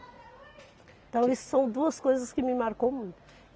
Então, isso são duas coisas que me marcou muito.